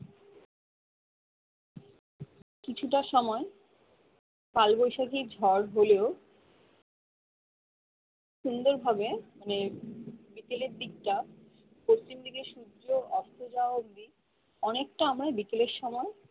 কিছুটা সময় কালবৈশাখীর ঝড় হলেও সুন্দর ভাবে মানে বিকেলের দিকটা পশ্চিম দিকে সূর্য অস্ত যাওয়া অবধি অনেকটা আবার বিকেলের সময়